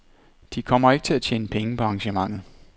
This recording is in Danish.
De kommer ikke til at tjene penge på arrangementet.